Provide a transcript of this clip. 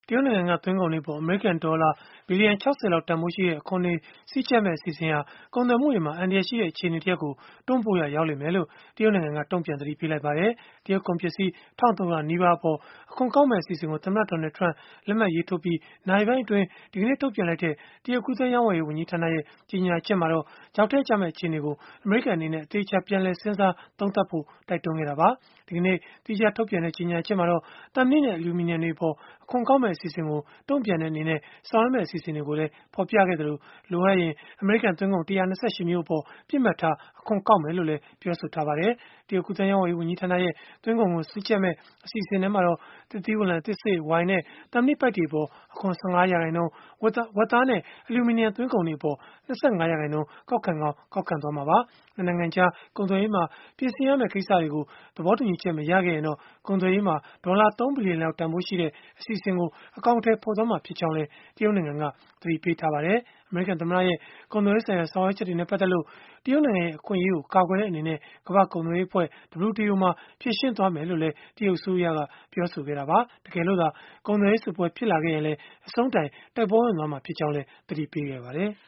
တရုတ်နိုင်ငံက တင်သွင်းကုန်တွေအပေါ် အမေရိကန်ဒေါ်လာ ဘီလီယံ ၆၀ လောက် တန်ဘိုးရှိတဲ့ အခွန်တွေစည်းကျပ်မယ့် အစီအစဉ်ဟာ ကုန်သွယ်မှုတွေမှာ အန္တရာယ်ရှိတဲ့ အခြေအနေတရပ်ကို တွန်းပို့ရာရောက်လိမ့်မယ်လို့ တရုတ်နိုင်ငံက တုံ့ပြန်သတိပေးလိုက်ပါတယ်။ တရုတ်ကုန်ပစ္စည်း ၁၃၀၀ နီးပါးအပေါ် အခွန်ကောက်မယ့် အစီအစဉ်ကို သမ္မတ Donald Trump လက်မှတ်ရေးထိုးပြီး နာရီပိုင်းအတွင်း ဒီကနေ့ ထုတ်ပြန်လိုက်တဲ့ တရုတ်ကူးသန်းရောင်းဝယ်ရေး ဝန်ကြီးဌာနရဲ့ ကြေညာချက်မှာတော့ ချောက်ထဲကျမယ့် အခြေအနေကို အမေရိကန်အနေနဲ့ အသေအချာ ပြန်လည်စဉ်းစား သုံးသပ်ဖို့ တိုက်တွန်းခဲ့တာပါ။ ဒီကနေ့ သီးခြား ထုတ်ပြန်လိုက်တဲ့ ကြေညာချက်မှာတော့ သံမဏိနဲ့ အလျုမီနီယံတွေအပေါ် အခွန်ကောက်မယ့် အစီအစဉ်ကို တုံ့ပြန်တဲ့အနေနဲ့ ဆောင်ရွက်မယ့် အစီအစဉ်တွေကို ဖော်ပြခဲ့သလို၊ လိုအပ်ရင် အမေရိကန်သွင်းကုန် ၁၂၈ မျိုးအပေါ် ပစ်မှတ်ထား အခွန်ကောက်မယ်လို့လည်း ပြောပါတယ်။ တရုတ်ကူးသန်းရောင်းဝယ်ရေး ဝန်ကြီးဌာနရဲ့ သွင်းကုန်ခွန်စည်းကျပ်မယ့် အစီအစဉ်သစ်မှာတော့ သစ်သီးဝလံ၊ သစ်စေ့၊ ဝိုင်နဲ့ သံမဏိပိုက်တွေအပေါ် အခွန် ၁၅ ရာခိုင်နှုန်း၊ ဝက်သားနဲ့ အလျူမီနီယံ သွင်းကုန်တွေအပေါ် ၂၅ ရာခိုင်နှုန်း ကောက်ခံကောင်း ကောက်ခံသွားမှာပါ။ ၂ နိုင်ငံကြား ကုန်သွယ်ရေးမှာ ပြင်ဆင်ရမယ့် ကိစ္စတွေကို သဘောတူညီချက် မရခဲ့ရင်တော့ ကုန်သွယ်ရေးမှာ ဒေါ်လာ ၃ ဘီလီယံလောက် တန်ဘိုးရှိတဲ့ အစီအစဉ်ကို အကောင်အထည်ဖော်မှာ ဖြစ်ကြောင်းလည်း တရုတ်နိုင်ငံက သတိပေးထားပါတယ်။ အမေရိကန်သမ္မတရဲ့ ကုန်သွယ်ရေးဆိုင်ရာ ဆောင်ရွက်ချက်တွေနဲ့ ပတ်သက်လို့ တရုတ်နိုင်ငံရဲ့ အခွင့်အရေးကို ကာကွယ်တဲ့ အနေနဲ့ ကမ္ဘာ့ကုန်သွယ်ရေးအဖွဲ့ (WTO) မှာ ဖြေရှင်းမယ်လို့လည်း တရုတ်အစိုးရက ပြောဆိုခဲ့တာပါ။ တကယ်လို့သာ ကုန်သွယ်ရေးစစ်ပွဲ ဖြစ်လာခဲ့ရင်လည်း အဆုံးတိုင် တိုက်ပွဲဝင်မှာ ဖြစ်ကြောင်းလည်း သတိပေးခဲ့ပါတယ်။